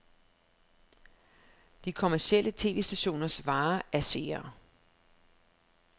De kommercielle tv-stationers vare er seere.